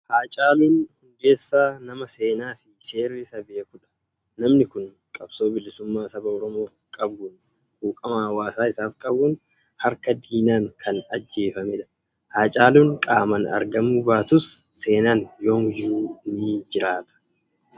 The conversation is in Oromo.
Haacaaluun Hundeessaa nama seenaa fi seerri isa beekudha! Namni kun qabsoo bilisummaa saba Oromoof qabuun, quuqama hawaasa isaaf qabuun, harka diinaan kan ajjeefamedha. Haacaaluun qaamaan argamuu baatus seenaan yoomiyyuu ni jiraata.